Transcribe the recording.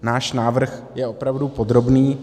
Náš návrh je opravdu podrobný.